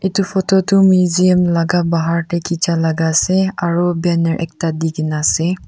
etu photo tu measum laga bahar te khecha laga ase aru banner ekta de kini ase.